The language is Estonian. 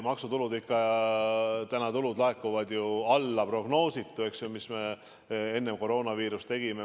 Maksutulud ikka laekuvad ju alla prognoosi, mille me enne koroonaviirust tegime.